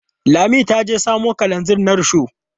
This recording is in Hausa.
Lami ta je samo kalanzir na rishon.